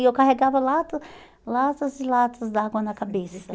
E eu carregava lata, latas e latas d'água na cabeça.